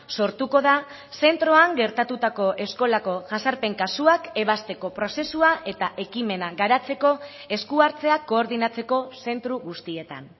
sortuko da zentroan gertatutako eskolako jazarpen kasuak ebazteko prozesua eta ekimena garatzeko esku hartzea koordinatzeko zentro guztietan